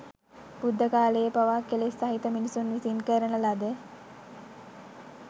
බුද්ධ කාලයේ පවා කෙලෙස් සහිත මිනිසුන් විසින් කරන ලද